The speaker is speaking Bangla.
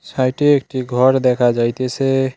সাইটে একটি ঘর দেখা যাইতেসে।